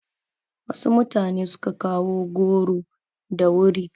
Wasu mutane su ka kawo goro da wuri.